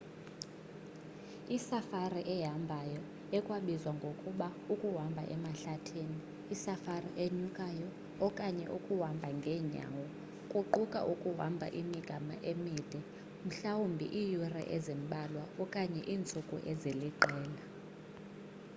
isafari ehambayo ekwabizwa ngokuba ukuhamba emahlathini” isafari enyukayo” okanye ukuhamba ngeenyawo” kuquka ukuhamba imigama emide mhlawumbi iiyure ezimbalwa okanye iintsuku eziliqela